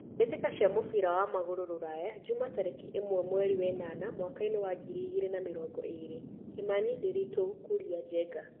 Mbĩ tĩ ka cia mũbira wa magũrũ Ruraya Juma tarĩ ki ĩ mwe mweri wenana mwakainĩ wa ngiri igĩ rĩ na mĩ rongo ĩ rĩ : Kimani, Ndiritu, Kuria ,Njenga.